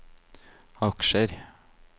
aksjer